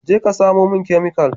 Je ka samo min chemical.